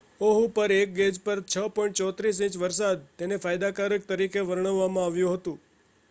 "Oahu પર એક gauge પર 6.34 ઇંચ વરસાદ તેને "ફાયદાકારક" તરીકે વર્ણવવામાં આવ્યું હતું.